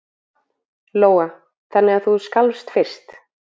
Lóa: Þannig að þú skalfst fyrst?